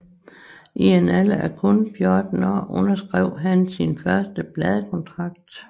I en alder af kun 14 år underskrev han sin første pladekontrakt